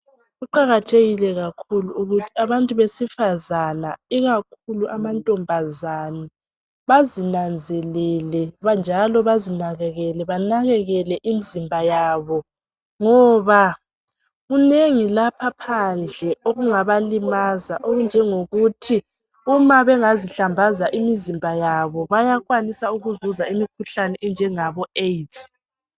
Kuqakathekile ukuthi abantu besifazane ikakhulu amantombazana bazinanzelele njalo bazinakekele njalo banakekele imizimba yabo ngoba kunengi lapha phandle okungabalimaza okunjengokuthi uma bengazihlambaza imizimba yabo bayakwanisa ukuzuza imikhuhlane enjengabo AIDS